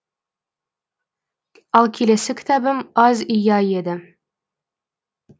ал келесі кітабым азия еді